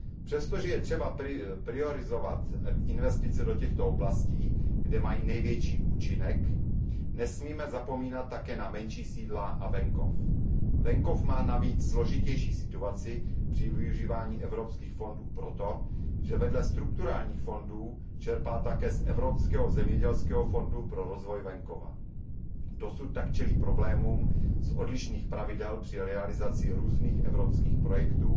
Přestože je třeba, aby investice do těchto oblastí, kde mají největší účinek, byly prioritní, nesmíme zapomínat také na menší sídla a venkov. Venkov má navíc složitější situaci při využívání evropských fondů proto, že vedle strukturálních fondů čerpá také z Evropského zemědělského fondu pro rozvoj venkova. Dosud tak čelí problémům z odlišných pravidel při realizaci různých evropských projektů,